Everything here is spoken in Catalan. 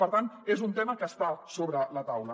per tant és un tema que està sobre la taula